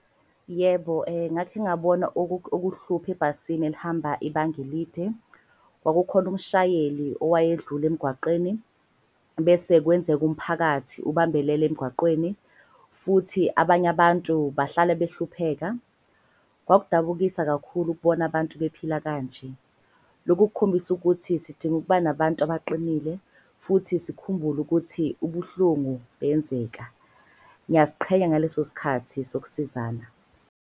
Yebo, ngakhe ngabona ukuhlupha ebhasini elihamba ibanga elide. Kwakukhona umshayeli owayedlula emgwaqeni bese kwenzeka umphakathi ubambelele emgwaqeni. Futhi abanye abantu bahlale behlupheka. Kwakudabukisa kakhulu ukubona abantu bephila kanje. Lokhu kukhombisa ukuthi sidinga ukuba nabantu baqinile futhi sikhumbule ukuthi ubuhlungu buyenzeka. Ngiyaziqhenya ngaleso sikhathi sokusizana.